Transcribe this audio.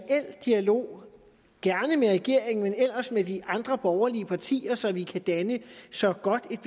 dialog gerne med regeringen men ellers med de andre borgerlige partier så vi kan danne så godt et